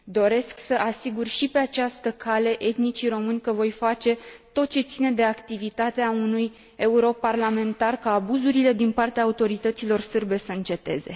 Doresc să asigur și pe această cale etnicii români că voi face tot ce ține de activitatea unui europarlamentar, ca abuzurile din partea autorităților sârbe să înceteze.